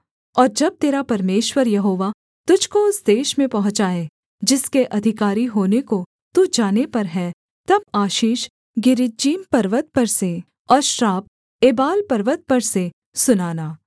और जब तेरा परमेश्वर यहोवा तुझको उस देश में पहुँचाए जिसके अधिकारी होने को तू जाने पर है तब आशीष गिरिज्जीम पर्वत पर से और श्राप एबाल पर्वत पर से सुनाना